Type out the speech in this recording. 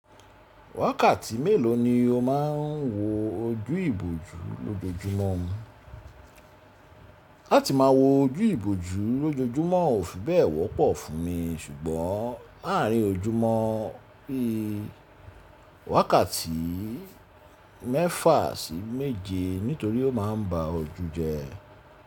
Wákàtí mélòó ni o máa ń wo ojú ìbòjú lójoojúmọ́? Láti má a wo ojú ìbòjú lójoojúmọ́ ò fi bẹ́ẹ̀ wọ́pọ̀ fún mi, ṣùgbọ́n láàrin ojúmọ́ bí i wákàtí mẹ́fà sí méje nítorí ó má a ń ba ojú jẹ́.